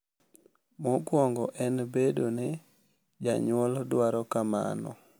Mokwongo en bedo ni janyuol dwaro kamano.